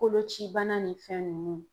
Kolocibana ni fɛn ninnu.